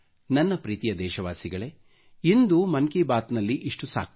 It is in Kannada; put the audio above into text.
ನನ್ನ ಪ್ರೀತಿಯ ದೇಶವಾಸಿಗಳೇ ಇಂದು ಮನ್ ಕಿ ಬಾತ್ ನಲ್ಲಿ ಇಷ್ಟು ಸಾಕು